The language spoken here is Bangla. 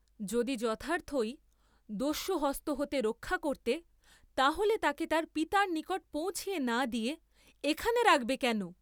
যদি যথার্থ ই দস্যুহস্ত হতে রক্ষা করতে, তাহলে তাকে তার পিতার নিকট পৌঁছিয়ে না দিয়ে এখানে রাখবে কেন?